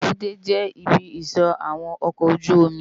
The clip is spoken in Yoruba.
Ébùté jè ibi isò áwòn òkò ójùómì